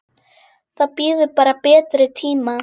Það bíður bara betri tíma.